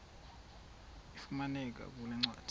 ifumaneka kule ncwadi